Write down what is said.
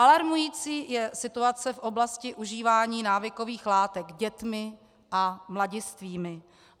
Alarmující je situace v oblasti užívání návykových látek dětmi a mladistvými.